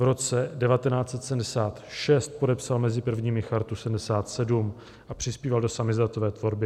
V roce 1976 podepsal mezi prvními Chartu 77 a přispíval do samizdatové tvorby.